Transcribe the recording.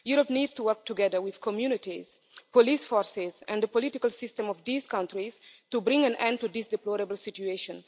Europe needs to work together with communities, police forces and the political system of these countries to bring an end to this deplorable situation.